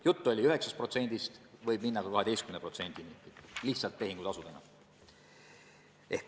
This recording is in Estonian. Jutt oli kaotatavast 9%-st, see võib kasvada ka 12%-ni – lihtsalt tehingutasudena.